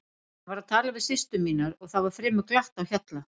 Hann var að tala við systur mínar og það var fremur glatt á hjalla.